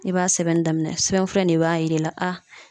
I b'a sɛbɛnni daminɛ sɛbɛnfura in de b'a yira ila aa